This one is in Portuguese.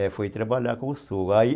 É, foi trabalhar com o sogro. Aí